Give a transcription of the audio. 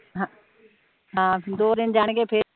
ਹਮ ਦੋ ਦਿਨ ਜਾਣ ਗੇ ਫੇਰ